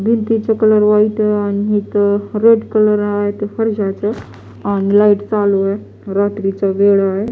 भिंतीचा colour white आहे आणि इथे रेड कलर आहे फरशीचा आणि लाइट चालू आहे रात्रीचा वेळ आहे.